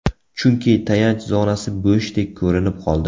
Chunki, tayanch zonasi bo‘shdek ko‘rinib qoldi.